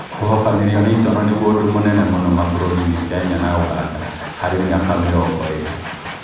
Kũhobanĩrio nĩ itono nĩguo ũndũ mũnene mũno mabũrũri na Kenya na Uganda harĩ mĩaka mĩrongo ĩrĩ